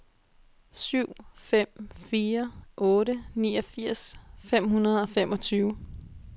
syv fem fire otte niogfirs fem hundrede og femogtyve